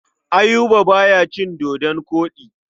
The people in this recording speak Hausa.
Ayuba ba ya cin dodon koɗi.